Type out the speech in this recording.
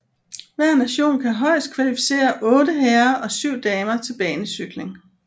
Hver nation kan højest kvalificerer 8 herrer og 7 damer til banecykling